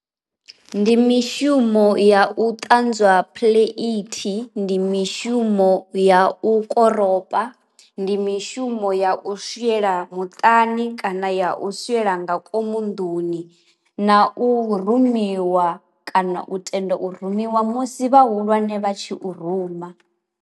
Ndi mishumo ya u ṱanzwa phuḽeithi, ndi mishumo ya u koropa, ndi mishumo ya u swiela muṱani kana ya u swiela nga ngomu nḓuni na u rumiwa kana u tenda u rumiwa musi vha hulwane vha tshi u ruma.